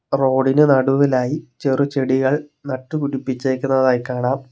റോഡിന് നടുവിലായി ചെറു ചെടികൾ നട്ട് പിടിപ്പിച്ചേക്കുന്നതായി കാണാം.